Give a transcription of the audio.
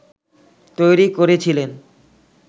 তৈরি করেছিলেন